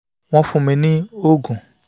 wọ́n fún mi ní oògùn vitamin